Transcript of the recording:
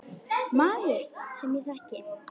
Maður, sem ég þekki.